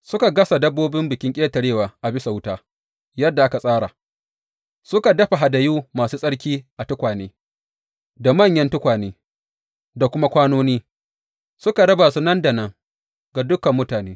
Suka gasa dabbobin Bikin Ƙetarewa a bisa wuta yadda aka tsara, suka dafa hadayu masu tsarki a tukwane, da manyan tukwane, da kuma kwanoni, suka raba su nan da nan ga dukan mutane.